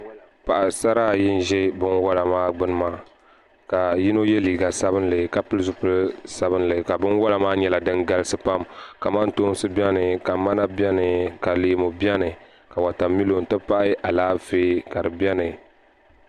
Paɣasara ayi n ʒɛ binwola maa gbuni maa ka yino yɛ liiga sabinli ka pili zipili sabinli ka binwola maa nyɛla din galisi pam kamantoosi biɛni ka mana biɛni ka leemu biɛni ka wotamilo n ti pahi Alaafee ka di biɛni